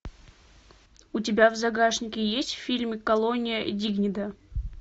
у тебя в загашнике есть фильм колония дигнидад